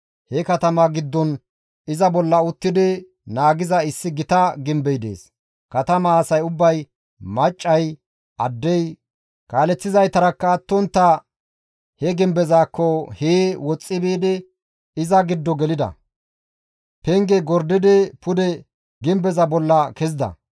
He katamaa giddon iza bolla uttidi naagiza issi gita gimbey dees. Katamaa asay ubbay, maccay, addey, kaaleththizaytarakka attontta he gimbezaakko hee woxxi biidi iza giddo gelida; penge gordidi pude gimbeza bolla kezida.